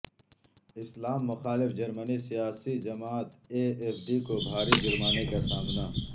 اسلام مخالف جرمن سیاسی جماعت اے ایف ڈی کو بھاری جرمانے کا سامنا